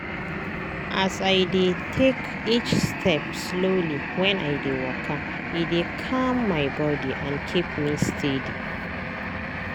as i dey take each step slowly when i dey waka e dey calm my body and keep me steady.